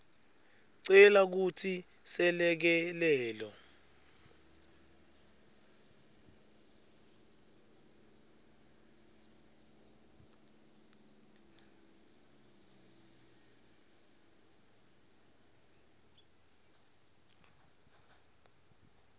cela kutsi selekelelo